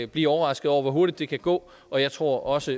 blive overrasket over hvor hurtigt det kan gå og jeg tror også